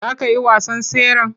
Za ka yi wasan tseren?